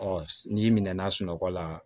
Ɔ n'i minɛna sunɔgɔ la